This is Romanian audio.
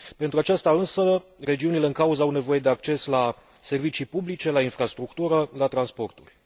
Pentru aceasta, însă, regiunile în cauză au nevoie de acces la servicii publice, la infrastructură, la transporturi.